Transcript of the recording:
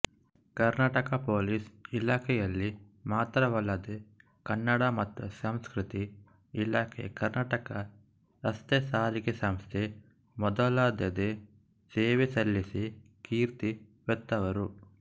Karnataka police ಇಲಾಖೆಯಲ್ಲಿ ಮಾತ್ರವಲ್ಲದೆ ಕನ್ನಡ ಮತ್ತು ಸಂಸ್ಕೃತಿ ಇಲಾಖೆ ಕರ್ನಾಟಕ ರಸ್ತೆ ಸಾರಿಗೆ ಸಂಸ್ಥೆ ಮೊದಲಾದೆಡೆ ಸೇವೆಸಲ್ಲಿಸಿ ಕೀರ್ತಿವೆತ್ತವರು